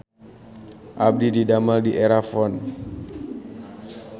Abdi didamel di Erafon